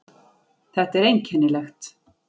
Þetta er einkennilegt.